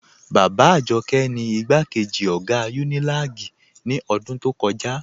Baba Ajọkẹ ni igbakeji ogá Unilag ni odún tó kọja.